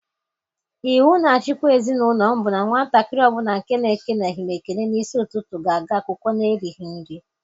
Iwu na-achikwa ezi n'ụlọ m bụ na nwatakịrị ọ bụla nke na-ekeleghị m ekele n'isi ụtụtụ ga-aga akwụkwọ n'erighị nri.